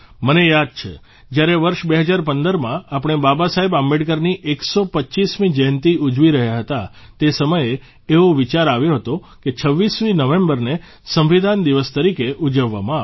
મને યાદ છે જયારે વર્ષ 2015માં આપણે બાબાસાહેબ આંબેડકરની 125મી જયંતિ ઉજવી રહ્યા હતા તે સમયે એવો વિચાર આવ્યો હતો કે 26 નવેમ્બરને સંવિધાન દિવસ તરીકે મનાવવામાં આવે